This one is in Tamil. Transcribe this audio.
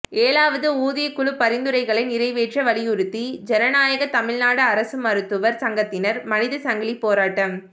ஏழாவது ஊதியக் குழு பரிந்துரைகளை நிறைவேற்ற வலியுறுத்தி ஜனநாயக தமிழ்நாடு அரசு மருத்துவர் சங்கத்தினர் மனிதச்சங்கிலி போராட்டம்